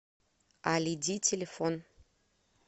алиди телефон